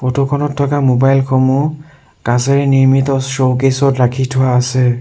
Photo খনত থকা mobile সমূহ কাছেৰে নিৰ্মিত চৌকেচ ত ৰাখি থোৱা আছে।